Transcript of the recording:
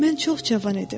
Mən çox cavan idim.